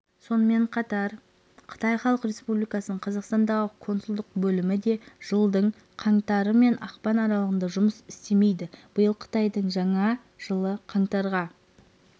сонымен қатар қытай халық республикасының қазақстандағы консулдық бөлімі де жылдың қаңтары мен ақпаны аралығында жұмыс істемейді биыл қытайдың жаңа жылы қаңтарға